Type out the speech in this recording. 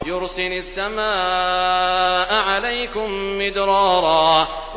يُرْسِلِ السَّمَاءَ عَلَيْكُم مِّدْرَارًا